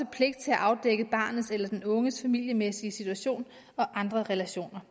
pligt til at afdække barnets eller den unges familiemæssige situation og andre relationer